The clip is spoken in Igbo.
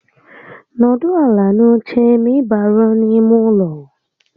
N'ọdụ ala n'oche ma ị baruo n'ime ụlọ